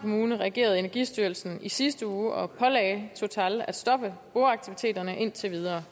kommune reagerede energistyrelsen i sidste uge og pålagde total at stoppe boreaktiviteterne indtil videre